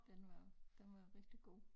Den var den var rigtig god